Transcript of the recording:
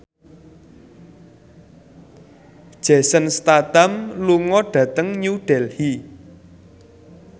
Jason Statham lunga dhateng New Delhi